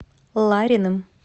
лариным